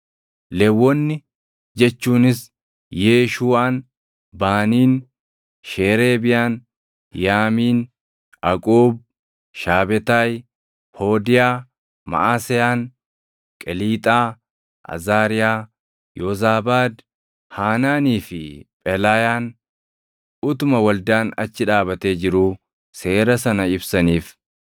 Lewwonni jechuunis Yeeshuuʼaan, Baaniin, Sheereebiyaan, Yaamiin, Aquub, Shaabetaayi, Hoodiyaa, Maʼaseyaan, Qeliixaa, Azaariyaa, Yoozaabaad, Haanaanii fi Phelaayaan utuma waldaan achi dhaabatee jiruu seera sana ibsaniif.